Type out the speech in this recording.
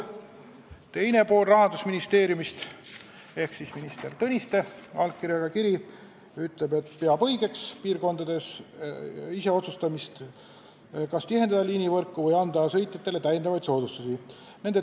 Rahandusministeeriumi teise osapoole ehk minister Tõniste allkirjaga kirjas on öeldud, et õigeks peetakse piirkondades ise otsustamist, kas tihendada liinivõrku või anda sõitjatele täiendavaid soodustusi.